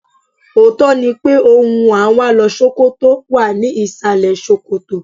Òótọ́ ni pé ohun à ń wá lọ Ṣókótó wà ní ìsàlẹ̀ ṣòkòtò.